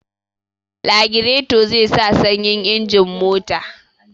Lagireto zai sa sanyin injin mota